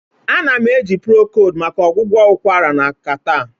Ana m eji procold maka ọgwụgwọ ụkwara na Catarh